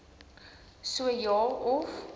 so ja of